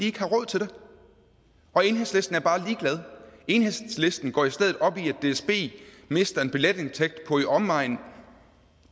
ikke har råd til det og enhedslisten er bare ligeglad enhedslisten går i stedet op i at dsb mister en billetindtægt på i omegnen af